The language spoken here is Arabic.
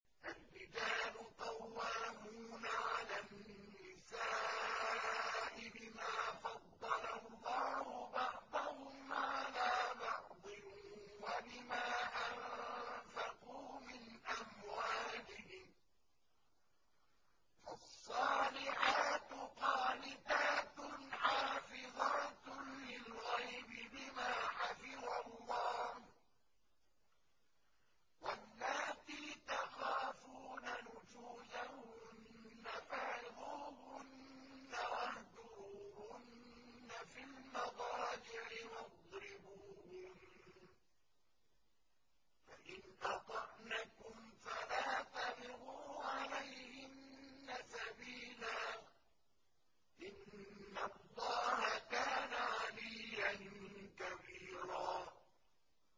الرِّجَالُ قَوَّامُونَ عَلَى النِّسَاءِ بِمَا فَضَّلَ اللَّهُ بَعْضَهُمْ عَلَىٰ بَعْضٍ وَبِمَا أَنفَقُوا مِنْ أَمْوَالِهِمْ ۚ فَالصَّالِحَاتُ قَانِتَاتٌ حَافِظَاتٌ لِّلْغَيْبِ بِمَا حَفِظَ اللَّهُ ۚ وَاللَّاتِي تَخَافُونَ نُشُوزَهُنَّ فَعِظُوهُنَّ وَاهْجُرُوهُنَّ فِي الْمَضَاجِعِ وَاضْرِبُوهُنَّ ۖ فَإِنْ أَطَعْنَكُمْ فَلَا تَبْغُوا عَلَيْهِنَّ سَبِيلًا ۗ إِنَّ اللَّهَ كَانَ عَلِيًّا كَبِيرًا